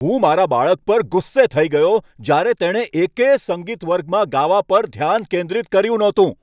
હું મારા બાળક પર ગુસ્સે થઈ ગયો જ્યારે તેણે એકેય સંગીત વર્ગમાં ગાવા પર ધ્યાન કેન્દ્રિત કર્યું ન હતું.